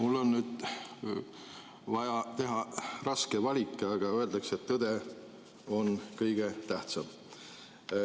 Mul on nüüd vaja teha raske valik, aga öeldakse, et tõde on kõige tähtsam.